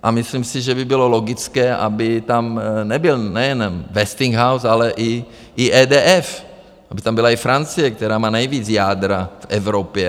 A myslím si, že by bylo logické, aby tam nebyl nejen Westinghouse, ale i EDF, aby tam byla i Francie, která má nejvíce jádra v Evropě.